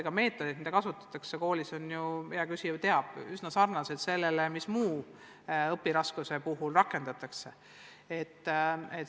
Need meetodid, mida koolis kasutatakse, on ju, nagu hea küsija teab, üsna sarnased nendega, mida muude õpiraskuste puhul rakendatakse.